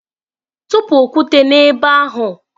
Tụpụ okwute n'ebe ahụ!